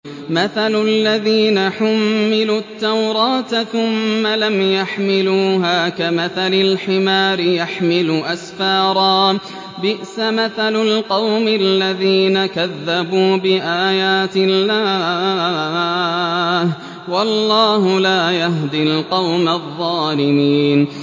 مَثَلُ الَّذِينَ حُمِّلُوا التَّوْرَاةَ ثُمَّ لَمْ يَحْمِلُوهَا كَمَثَلِ الْحِمَارِ يَحْمِلُ أَسْفَارًا ۚ بِئْسَ مَثَلُ الْقَوْمِ الَّذِينَ كَذَّبُوا بِآيَاتِ اللَّهِ ۚ وَاللَّهُ لَا يَهْدِي الْقَوْمَ الظَّالِمِينَ